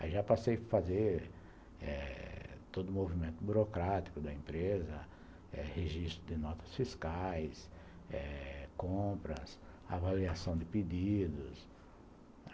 Aí já passei a fazer eh todo o movimento burocrático da empresa eh registro de notas fiscais eh compras, avaliação de pedidos.